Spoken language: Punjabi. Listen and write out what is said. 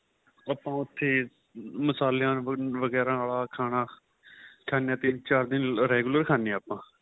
ਆਪਾਂ ਉਥੇ ਮਸਾਲਿਆਂ ਵਗੇਰਾ ਆਂਲਾ ਖਾਣਾ ਖਾਨਿਆਂ ਤਿੰਨ ਚਾਰ ਦਿਨ regular ਖਾਨਿਆਂ ਆਪਾਂ